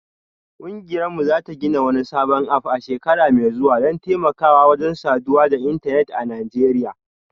Kungiyarmu za ta gina wani sabon app a shekara mai zuwa don taimakawa wajen saduwa da intanet a Najeriya